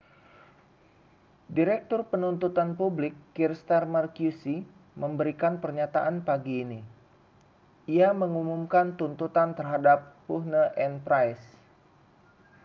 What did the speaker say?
direktur penuntutan publik kier starmer qc memberikan pernyataan pagi ini ia mengumumkan tuntutan terhadap huhne dan pryce